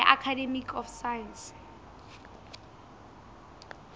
ya ka academy of science